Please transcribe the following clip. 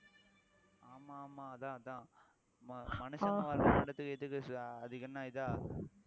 ஆமா ஆமா அதான் அதான் மனுஷன் அதுக்கு என்ன இதா